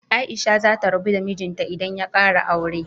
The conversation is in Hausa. Aisha za ta rabu da mijinta idan ya kara aure.